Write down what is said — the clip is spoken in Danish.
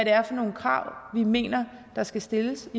er for nogle krav vi mener der skal stilles